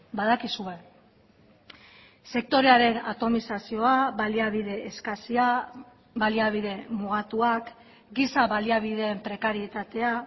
badakizue sektorearen atomizazioa baliabide eskasia baliabide mugatuak giza baliabideen prekarietatea